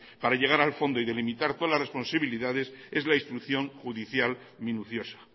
para llegar al fondo y delimitar todas las responsabilidades es la instrucción judicial minuciosa